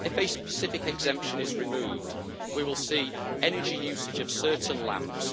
If a specific exemption is removed, we will see energy usage of certain lamps.